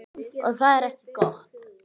Og það er ekki gott.